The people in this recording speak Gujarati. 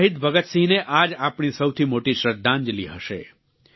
શહીદ ભગતસિંહને આ જ આપણી સૌથી મોટી શ્રદ્ધાંજલિ હશે